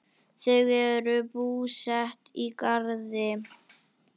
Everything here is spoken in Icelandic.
Þau eru búsett í Garði.